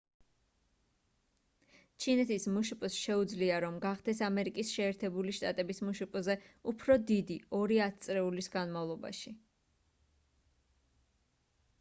ჩინეთის მშპ-ს შეუძლია რომ გახდეს ამერიკის შეერთებული შტატების მშპ-ზე უფრო დიდი ორი ათწლეულის განმავლობაში